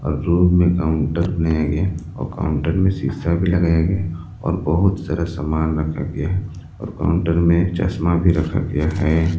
Room में counter बनाया गया और काउंटर में सीसा भी लगाया गया और बहुत सारा सामान रखा गया और काउंटर में चश्मा भी रखा गया है।